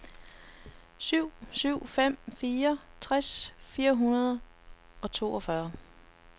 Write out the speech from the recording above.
syv syv fem fire tres fire hundrede og toogfyrre